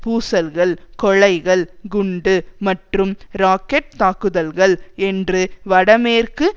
பூசல்கள் கொலைகள் குண்டு மற்றும் ராக்கெட் தாக்குதல்கள் என்று வடமேற்கு